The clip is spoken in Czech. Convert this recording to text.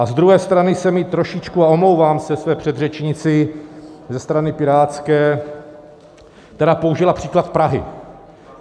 A z druhé strany se mi trošku, a omlouvám se své předřečnici ze strany pirátské, která použila příklad Prahy.